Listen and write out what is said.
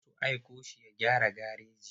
Za su aiko shi ya gyara gareji.